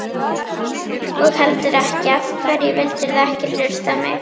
og heldur ekki: Af hverju vildirðu ekki hlusta á mig?